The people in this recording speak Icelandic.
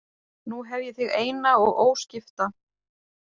Nú hef ég þig eina og óskipta